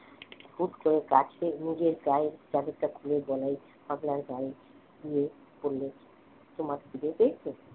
হুট করে কাছে নিজের গায়ে চাদরটা খুলে বলাই পাগলার গায়ে দিয়ে পরালো তোমার খিদে পেয়েছে